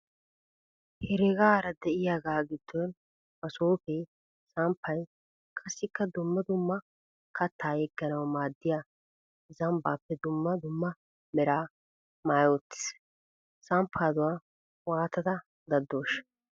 Heregaara diyagaa giddon masoopee, samppay, qassikka dumma dumma kattaa yegganawu maaddiya zambbaappe dumma dumma Mera maayi uttis. Samppaaduwa waatadda daddooshsha?